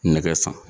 Nɛgɛ san